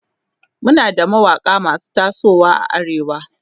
Muna da mawaƙa masu tasowa a arewa